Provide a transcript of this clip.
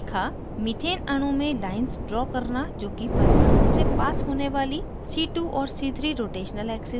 methane अणु में lines draw करना जोकि परमाणुओं से पास होने वाली c2 और c3 rotational axes हैं